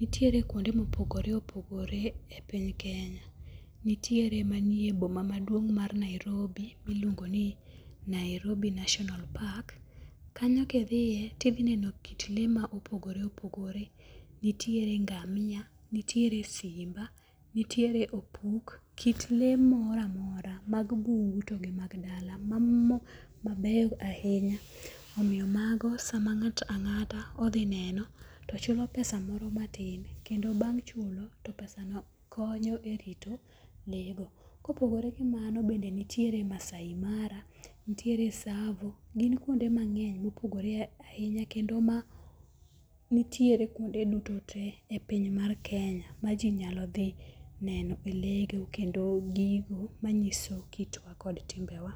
Nitiere kuonde mopogore opogore e piny Kenya. Nitiere manie e boma maduong mar Nairobi ma iluongo ni Nairobi National Park. Kanyo kidhie tidhineno kit le ma opogore opogore, nitiere ngamia, nitiere simba, nitiere opuk. Kit lee moro amora mag bungu to gi mag dala. Mamoko mabeyo ahinya omiyo mago sama ng'ato ang'ata odhi neno to chulo pesa moro matin kendo bang' chulo to pesa no konyo e rito lee go. Kopogore gi mano bende nitiere Maasai Mara nitiere Tsavo. Gin kuonde mang'eny ma opogore ahinya. Kendo nitiere e kuonde duto te e piny mar Kenya ma ji nyalo dhi neno e le go kendo gigo manyiso kitwa kod timbe wa.